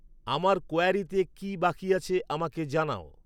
আমার ক্যোয়ারীতে কি বাকি আছে আমাকে জানাও